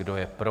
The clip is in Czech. Kdo je pro?